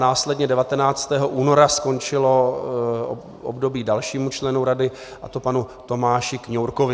Následně 19. února skončilo období dalšímu členu rady, a to panu Tomáši Kňourkovi.